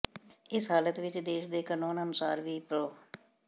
ਇਸ ਹਾਲਤ ਵਿੱਚ ਦੇਸ਼ ਦੇ ਕਾਨੂੰਨ ਅਨੁਸਾਰ ਵੀ ਪ੍ਰੋ